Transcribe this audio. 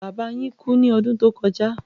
Bàbà yín kú ní ọdún tó kọja